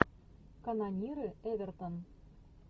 канониры эвертон